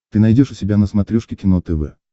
ты найдешь у себя на смотрешке кино тв